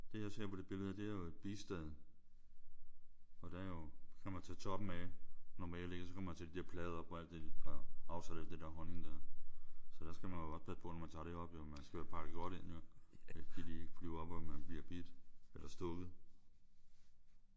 Det jeg ser på det billede her det er jo et bistade. Og der er jo så kan man tage toppen af normalt ik? Og så kan man tage de der plader op og alt det der og aftage alt det der honning der. Så der skal man også passe på når man tager det op ik? Man kan jo være pakket godt ind ik? Så de ikke flyver op og man bliver bidt eller stukket